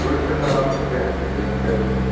улица саратовская тридцать пять